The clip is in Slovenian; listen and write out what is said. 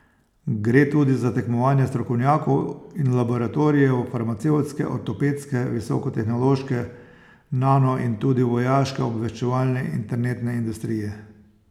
Gre tudi za tekmovanje strokovnjakov in laboratorijev, farmacevtske, ortopedske, visoko tehnološke, nano in tudi vojaške, obveščevalne, internetne industrije.